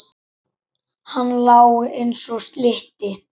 Hann lá eins og slytti.